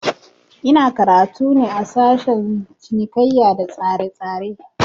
Ina karatu ne a sashen cinikaiya da tsaretsare